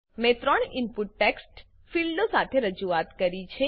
મેં 3 input text ફીલ્ડો સાથે રજૂઆત કરી છે